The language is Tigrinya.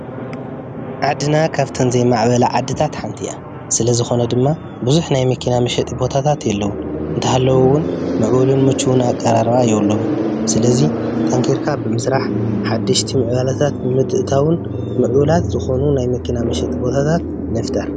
ዓድና ኸብተን ዘይማዕበላ ዓድታት ሓንቲ እያ ስለዝኾነ ድማ ብዙሕ ናይ መኪና መሸጢ ቦታታት የለዉን። እንተሃለውን ምዕቡሉን ሙቹውን ኣቀራርባ የብሎምን ስለዙይ ጠንኪርካ ብምስራሕ ሓድሽቲ ምዕባለታት ብምእትታውን ምፅቡላት ዝኾኑ ናይ መኪና ምሸጢ ቦታታት ንፍጠር።